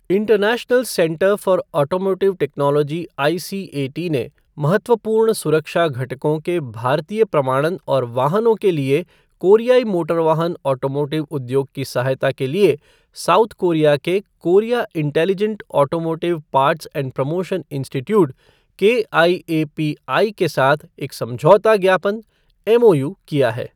International centre for automotive technology ICAT ने महत्वपूर्ण सुरक्षा घटकों के भारतीय प्रमाणन और वाहनों के लिए कोरियाई मोटर वाहन ऑटोमोटिव उद्योग की सहायता के लिए साउथ कोरिया के Korea intelligent automotive parts and promotion institute KIAPI के साथ एक समझौता ज्ञापन एमओयू किया है।